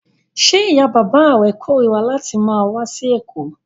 Ṣé ìyá-bàbá rẹ korira láti máa wá sí Èkó?